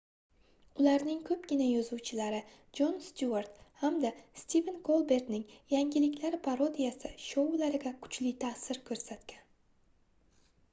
ularning koʻpgina yozuvchilari jon styuart hamda stiven kolbertning yangiliklar parodiyasi shoulariga kuchli taʼsir koʻrsatgan